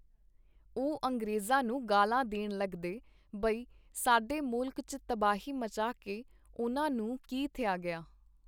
ਉਹ ਅੰਗਰੇਜ਼ਾਂ ਨੂੰ ਗਾਲ੍ਹਾਂ ਦੇਣ ਲੱਗਦੇ ਬਈ ਸਾਡੇ ਮੁਲਕ ਚ ਤਬਾਹੀ ਮਚਾ ਕੇ ਉਨ੍ਹਾਂ ਨੂੰ ਕੀ ਥਿਆ ਗਿਆ.